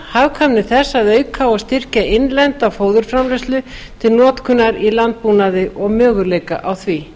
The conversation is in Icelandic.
hagkvæmni þess að auka og styrkja innlenda fóðurframleiðslu til notkunar í landbúnaði og möguleika á því